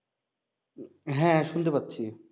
হ্যা শুনতে পাচ্ছি